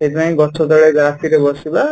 ସେଥିପାଇଁ ଗଛ ତଳେ ରାତି ରେ ବସିବା